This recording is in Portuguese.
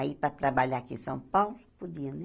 Aí, para trabalhar aqui em São Paulo, podia, né?